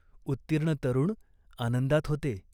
उत्तीर्ण तरुण आनंदात होते.